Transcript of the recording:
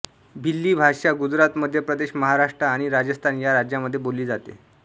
भिल्ली भाषा गुजरात मध्य प्रदेश महाराष्ट्र आणि राजस्थान या राज्यांमध्ये बोलली जाते